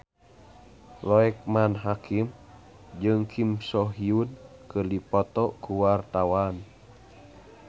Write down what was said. Loekman Hakim jeung Kim So Hyun keur dipoto ku wartawan